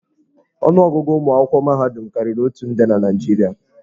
Ọnụ ọgụgụ ụmụ akwụkwọ mahadum karịrị otu nde na Naịjirịa.